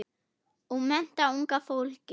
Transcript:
Og mennta unga fólkið.